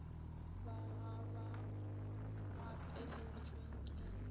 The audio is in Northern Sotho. ba ga ba gapeletšwe ke